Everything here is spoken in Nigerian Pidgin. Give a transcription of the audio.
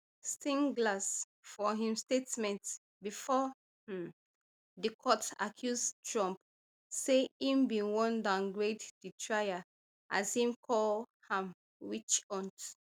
steinglass for im statement bifor um di court accuse trump say im bin wan downgrade di trial as im call am witch hunt